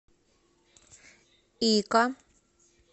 ика